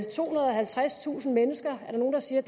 tohundrede og halvtredstusind mennesker som nogle siger